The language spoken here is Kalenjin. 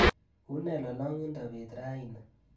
Une lolongindo beet raini